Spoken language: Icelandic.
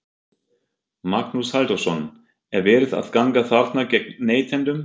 Magnús Halldórsson: Er verið að ganga þarna gegn neytendum?